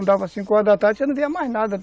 Dava cinco horas da tarde, você já não via mais nada.